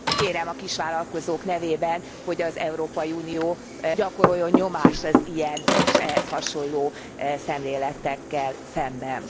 Kérem a kisvállalkozók nevében, hogy az Európai Unió gyakoroljon nyomást az ilyen és ehhez hasonló szemléletekkel szemben.